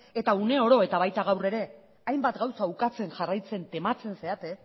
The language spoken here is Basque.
eta uneoro eta baita gaur ere hainbat gauza ukatzen jarraitzen tematzen zarete